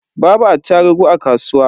Babu attarugu a kasuwa.